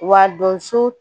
Wa donso